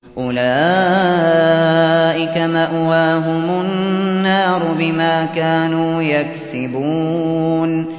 أُولَٰئِكَ مَأْوَاهُمُ النَّارُ بِمَا كَانُوا يَكْسِبُونَ